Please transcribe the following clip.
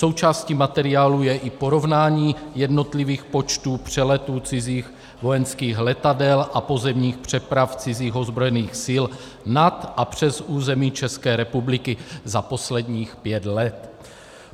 Součástí materiálu je i porovnání jednotlivých počtů přeletů cizích vojenských letadel a pozemních přeprav cizích ozbrojených sil nad a přes území České republiky za posledních pět let.